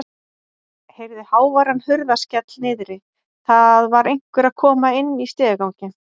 Heyrði háværan hurðarskell niðri, það var einhver að koma inn í stigaganginn.